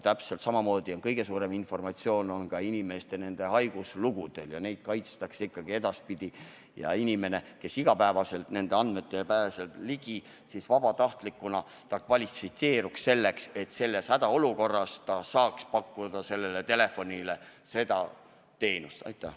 Täpselt samamoodi on suur väärtus inimeste haiguslugudel ja neid kaitstakse ka edaspidi, nii et inimene, kes igapäevaselt nendele andmetele ligi pääseb, peab vabatahtlikuna kvalifitseeruma selleks, et ta saaks hädaolukorras seda telefoniteenust pakkuda.